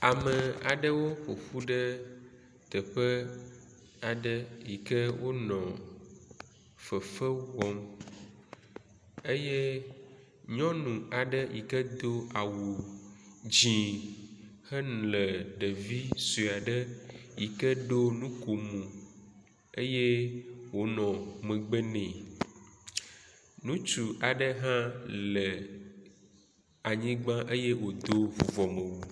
Ame aɖeo ƒoƒu ɖe teƒe aɖe yi ke wonɔ fefe wɔm eye nyɔnu aɖe yi ke do au dzi hele ɖevi sue aɖe yi ke ɖo nukomo eye wonɔ megbe nɛ. Ŋutsu aɖe hã le anyigba eye wodo vuvɔmewu.